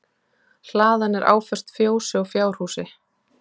Hlaðan er áföst fjósi og fjárhúsi